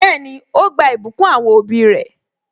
Bẹẹni, ó gba ìbùkún àwọn òbí re